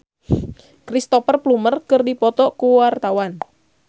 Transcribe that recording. Laura Basuki jeung Cristhoper Plumer keur dipoto ku wartawan